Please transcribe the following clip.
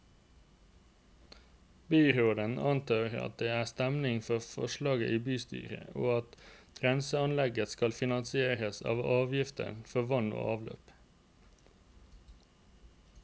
Byråden antar at det er stemning for forslaget i bystyret, og at renseanlegget skal finansieres av avgiftene for vann og avløp.